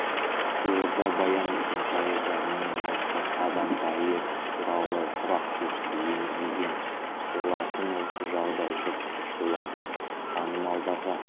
жуырда баян есентаева мен нұртас адамбаев туралы сұрақ тестіге енгізілген болатын осы жағдай жұртты шулатып танымалдарға